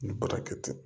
Ni baara kɛ ten